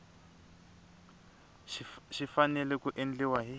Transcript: xi fanele ku endliwa hi